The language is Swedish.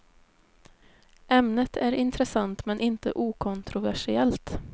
Ämnet är intressant men inte okontroversiellt.